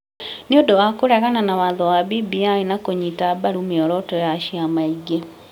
nĩ ũndũ wa kũregana na watho wa BBI na kũnyita mbaru mĩoroto ya ciama ingĩ.